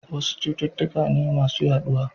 Wasu cututtuka ne masu yaduwa.